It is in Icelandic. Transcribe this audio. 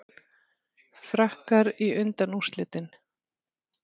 Frakkar í undanúrslitin